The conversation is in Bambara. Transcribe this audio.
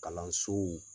Kalansow